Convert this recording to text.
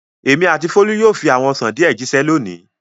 Èmi àti Folú yóò fi àwọn ọsàn díẹ̀ jíṣẹ́ lónìí.